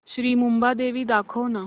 श्री मुंबादेवी दाखव ना